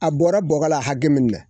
A bɔra bɔgɔ la hakɛ min na